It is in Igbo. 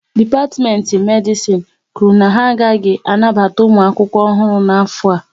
Dipatimenti Medisin kwụrụ na ha agaghị anabata ụmụ akwụkwọ ọhụrụ n'afọ a